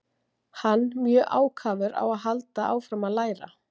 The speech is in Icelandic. Hann mjög ákafur á að halda áfram að læra.